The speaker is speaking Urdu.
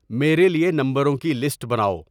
میرے لیے نمبروں کی لسٹ بناؤ